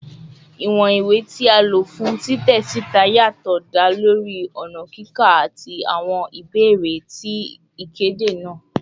Iwọn ti iwe ti a lo fun titẹ sita yatọ da lori ọna kika ati awọn ibeere ti ikede naa